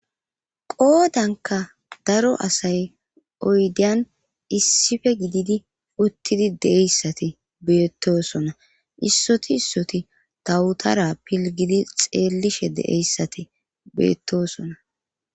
qoodanka daro asay oydeyan issife gididi uttidi deeyssati beettosona issoti issoti dawutara pilgidi xeellishe deeyssati beettosona